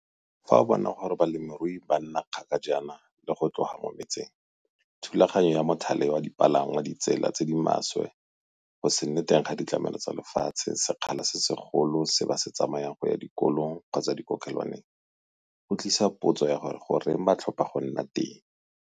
Fa o bona gore balemirui ba ba nna kgala jang go tloga mo metseng, thulaganyo ya mothale wa dipalangwa, ditsela tse di maswe, go se nne teng ga ditlamelo tsa lefatshe, sekgala se segolo se ba se tsamayang go ya dikolong kgotsa dikokelwaneng - go tlisa potso ya gore goreng ba tlhopha go nna teng?